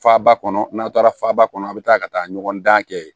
Faba kɔnɔ n'aw taara faba kɔnɔ a be taa ka taa ɲɔgɔn dan kɛ